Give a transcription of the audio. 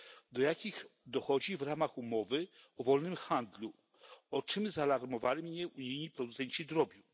do jakich dochodzi w ramach umowy o wolnym handlu, o czym zaalarmowali mnie unijni producenci drobiu.